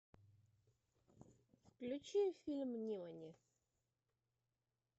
включи фильм нимани